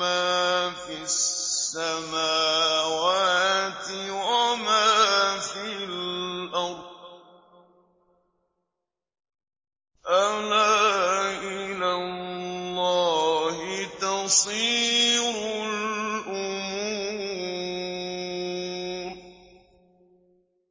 مَا فِي السَّمَاوَاتِ وَمَا فِي الْأَرْضِ ۗ أَلَا إِلَى اللَّهِ تَصِيرُ الْأُمُورُ